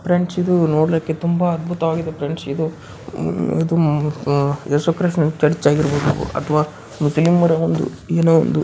Friends ಇದು ನೋಡ್ಲಿಕ್ಕೆ ತುಂಬಾ ಅದ್ಭುತವಾಗಿದೆ ಫ್ರೆಂಡ್ಸ್ ಇದು ಯೇಸು ಕ್ರಿಸ್ತನ ಚರ್ಚ್ ಆಗಿರಬಹುದು.